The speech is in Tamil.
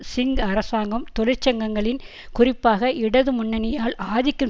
சிங் அரசாங்கம் தொழிற்சங்கங்களின் குறிப்பாக இடது முன்னணியால் ஆதிக்கம்